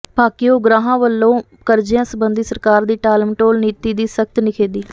ਭਾਕਿਯੂ ਉਗਰਾਹਾਂ ਵੱਲੋਂ ਕਰਜ਼ਿਆਂ ਸਬੰਧੀ ਸਰਕਾਰ ਦੀ ਟਾਲਮਟੋਲ ਨੀਤੀ ਦੀ ਸਖ਼ਤ ਨਿਖੇਧੀ